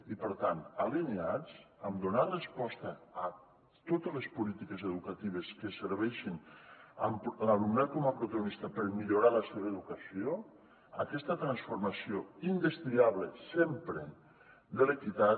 i per tant alineats per donar resposta a totes les polítiques educatives que serveixin amb l’alumnat com a protagonista per millorar la seva educació aquesta transformació indestriable sempre de l’equitat